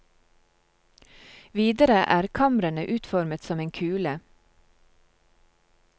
Videre er kamrene utformet som en kule.